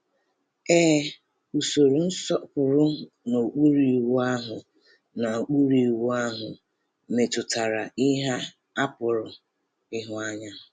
Ee, usoro nsọpụrụ n’okpuru Iwu ahụ n’okpuru Iwu ahụ metụtara ihe a pụrụ ịhụ anya.